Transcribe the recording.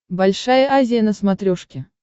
большая азия на смотрешке